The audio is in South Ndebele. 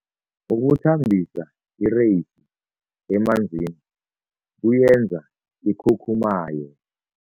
Ukuthambisa ireyisi emanzini kuyenza ikhukhumaye.